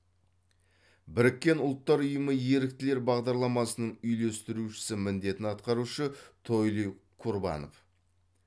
біріккен ұлттар ұйымы еріктілер бағдарламасының үйлестірушісі міндетін атқарушы тойли курбанов